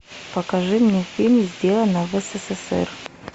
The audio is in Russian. покажи мне фильм сделано в ссср